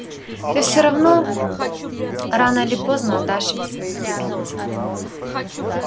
ты все равно рано или поздно отдашь им своих любимцев